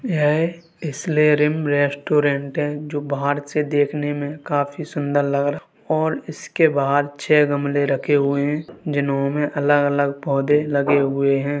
यह हिसलेरियं रेस्टोरेंट है जो बाहर से देखने में काफी सुन्दर लग रहा और इसके बाहर छह गमलें रखे हुए हैं जिन्होंने अलग-अलग पौधे लगे हुए हैं।